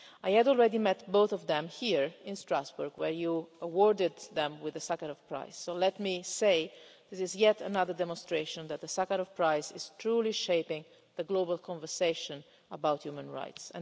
I had already met both of them here in Strasbourg where you awarded them the Sakharov Prize, so let me say that this is yet another demonstration that the Sakharov Prize is truly shaping the global conversation about human rights.